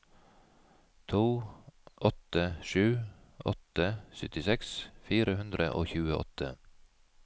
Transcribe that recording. to åtte sju åtte syttiseks fire hundre og tjueåtte